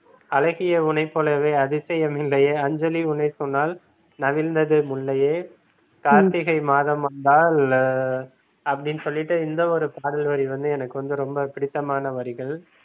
அழகியே உனைப்போலவே அதிசயம் இல்லையே அஞ்சலி உன்னை சொன்னால் நவிழ்ந்தது முல்லையே கார்த்திகை மாதம் வந்தால் அப்படின்னு சொல்லிட்டு இந்த ஒரு பாடல் வரி வந்து எனக்கு வந்து ரொம்ப பிடித்தமான வரிகள்